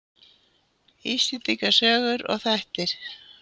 Íslendinga sögur og þættir.